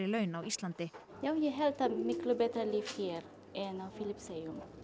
laun á Íslandi já ég held að það miklu betra líf hér en á Filippseyjum